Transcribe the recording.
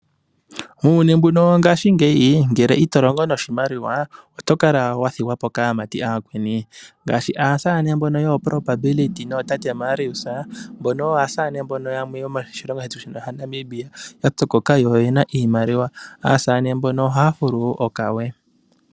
Uuyuni mbuno wongaashingeyi ngele ito longo noshimaliwa oto kala wathigwapo kaamati aakweni ngaashi aasane mbono yooProbability nootate Marius mbono oyo aasane mbono yamwe moshilongo shetu Namibia yapyokoka yo oyena iimaliwa. Aasane mbono ohaya fulu okawe.